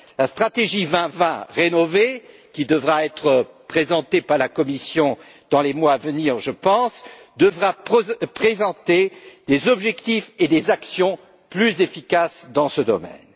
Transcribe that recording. La stratégie 2020 rénovée, qui devra être présentée par la Commission dans les mois à venir, je pense, devra prévoir des objectifs et des actions plus efficaces dans ce domaine.